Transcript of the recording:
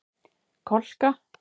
Kolka